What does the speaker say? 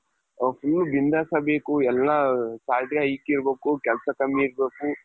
ಅವರು full ಬಿಂದಾಸ್ ಆಗ್ಬೇಕು ಎಲ್ಲಾ salary hike ಆಗ್ಬೇಕು ಕೆಲ್ಸ ಕಮ್ಮಿ ಇರ್ಬೇಕು,